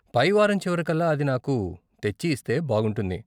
పైవారం చివరికల్లా అది నాకు తెచ్చి ఇస్తే బాగుంటుంది.